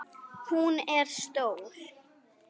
Hún er stór.